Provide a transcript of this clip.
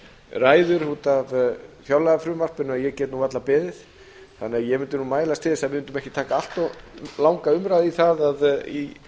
ræður út af fjárlagafrumvarpinu að ég get nú varla beðið þannig að ég mundi nú mælast til þess að við mundum ekki taka allt of langa umræðu í það í